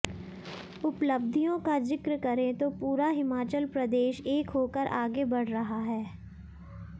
उपलब्धियों का जिक्र करें तो पूरा हिमाचल प्रदेश एक होकर आगे बढ़ रहा है